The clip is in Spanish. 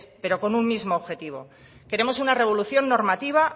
pero con un mismo objetivo queremos una revolución normativa